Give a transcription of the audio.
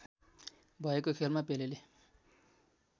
भएको खेलमा पेलेले